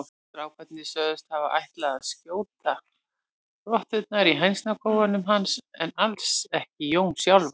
Strákarnir sögðust hafa ætlað að skjóta rotturnar í hænsnakofanum hans en alls ekki Jón sjálfan.